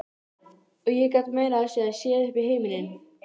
Og ég gat meira að segja séð upp í himininn.